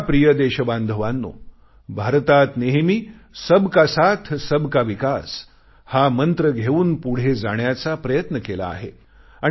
माझ्या प्रिय देशबांधवांनो भारतात नेहमी सबका साथसबका विकास हा मंत्र घेऊन पुढे जाण्याचा प्रयत्न केला आहे